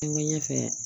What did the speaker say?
N ko ɲɛfɛ